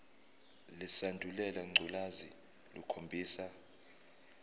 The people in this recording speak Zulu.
lesandulela ngculazi lukhombisa